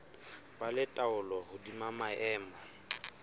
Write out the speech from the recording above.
ba le taolo hodima maemo